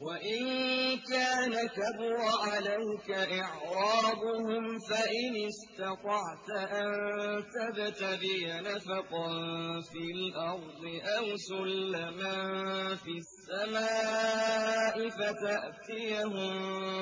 وَإِن كَانَ كَبُرَ عَلَيْكَ إِعْرَاضُهُمْ فَإِنِ اسْتَطَعْتَ أَن تَبْتَغِيَ نَفَقًا فِي الْأَرْضِ أَوْ سُلَّمًا فِي السَّمَاءِ فَتَأْتِيَهُم